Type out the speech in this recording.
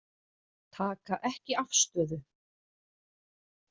Taka ekki afstöðu